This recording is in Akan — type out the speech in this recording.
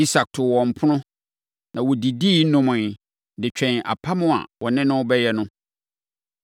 Isak too wɔn ɛpono, na wɔdidi nomeeɛ de twɛn apam a wɔne no rebɛyɛ no.